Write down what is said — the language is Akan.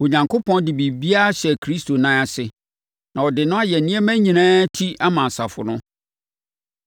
Onyankopɔn de biribiara hyɛɛ Kristo nan ase, na ɔde no ayɛ nneɛma nyinaa ti ama asafo no,